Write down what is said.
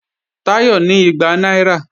Táyọ̀ ní igba náírà